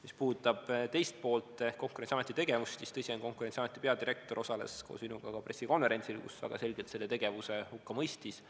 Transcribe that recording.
Mis puudutab teist poolt ehk Konkurentsiameti tegevust, siis tõsi on, et Konkurentsiameti peadirektor osales koos minuga ka pressikonverentsil, kus väga selgelt selle tegevuse hukka mõistis.